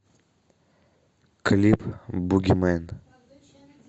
клип буги мэн